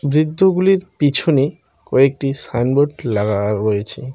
বৃদ্ধগুলির পিছনে কয়েকটি সাইনবোর্ড লাগা রয়েছে।